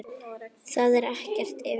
Það er ekkert vitað.